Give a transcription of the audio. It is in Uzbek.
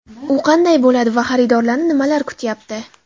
U qanday bo‘ladi va xaridorlarni nimalar kutayapti?